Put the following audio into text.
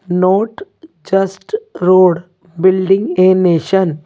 Road just not building nation.